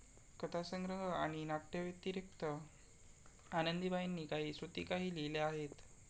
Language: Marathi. कथासंग्रह आणि नाट्यव्यतिरिक्त आनंदीबाईंनी काही श्रुतिकाही लिहिल्या आहेत.